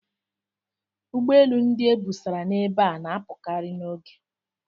Ụgbọ elu ndị e busara ebe a na-apụkarị n'oge.